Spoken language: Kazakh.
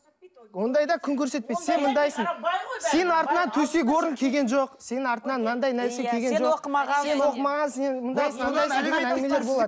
ондайда күн көрсетпейді сен мұндайсың сенің артыңнан төсек орын келген жоқ сенің артыңнан мынандай нәрсе келген жоқ сен оқымаған сен оқымағансың